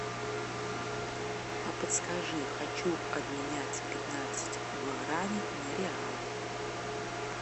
а подскажи хочу обменять пятнадцать гуарани на реалы